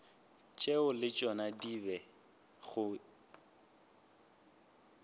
tšeo le tšona di bego